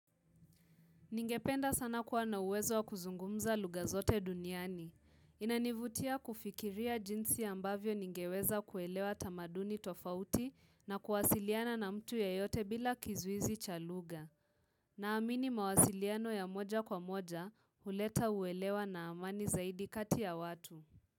Ningependa sana kuwa na uwezo wa kuzungumza lugha zote duniani. Inanivutia kufikiria jinsi ambavyo ningeweza kuelewa tamaduni tofauti na kuwasiliana na mtu yeyote bila kizuizi cha lugha. Naamini mawasiliano ya moja kwa moja huleta uwelewa na amani zaidi kati ya watu.